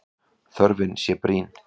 Þörfin sé brýn.